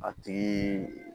A tigi